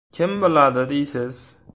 Kim biladi, deysiz?!